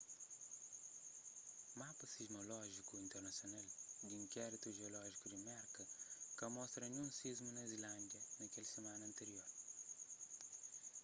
mapa sismolójiku internasional di inkéritu jiolójiku di merka ka mostra ninhun sismu na islândia na kel simana antirior